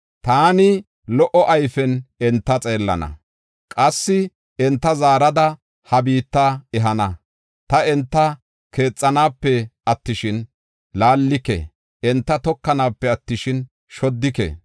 Taani lo77o ayfen enta xeellana; qassi enta zaarada ha biitta ehana. Ta enta keexanape attishin, laallike; enta tokanape attishin, shoddike.